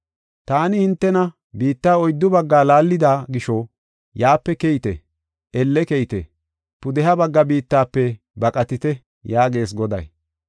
“Taani hintena biitta oyddu baggaa laallida gisho, yaape keyite; elle keyite; pudeha bagga biittafe baqatite” yaagees Goday.